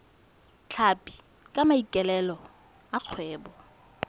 tlhapi ka maikaelelo a kgwebo